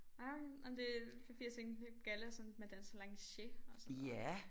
Nej okay nej men det fordi jeg tænkte galla sådan med at danse lanciers og sådan noget